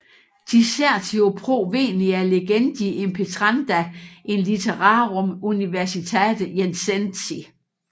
Dissertio pro venia legendi impetranda in litterarum universitate Jenensi